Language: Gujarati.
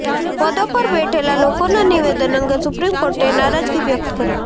પદો પર બેઠેલા લોકોના નિવેદન અંગે સુપ્રીમ કોર્ટે નારાજગી વ્યક્ત કરી